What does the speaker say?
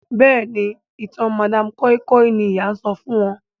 Béèni ìtàn madam koi koi ní ìyá sọfún wón.